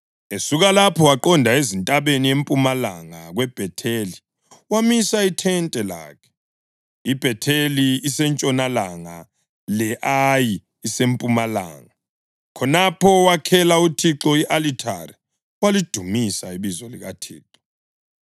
Esuka lapho waqonda ezintabeni empumalanga kweBhetheli wamisa ithente lakhe, iBhetheli isentshonalanga le-Ayi isempumalanga. Khonapho wakhela uThixo i-alithari walidumisa ibizo likaThixo.